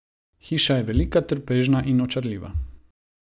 Hiša je velika, trpežna in očarljiva.